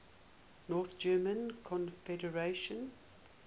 north german confederation